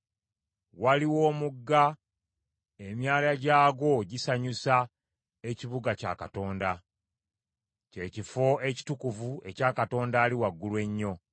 Waliwo omugga, emyala gyagwo gisanyusa ekibuga kya Katonda, kye kifo ekitukuvu ekya Katonda Ali Waggulu Ennyo.